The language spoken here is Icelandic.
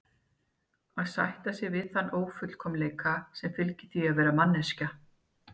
Að sætta sig við þann ófullkomleika sem fylgir því að vera manneskja.